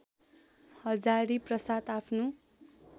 हजारीप्रसाद आफ्नो